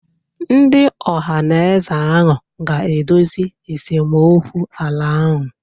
Ndị Ohanaeze ahụ ga-edozi esemokwu ala ahụ.